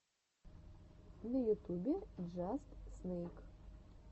на ютубе джаст снэйк